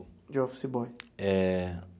De office boy. Eh.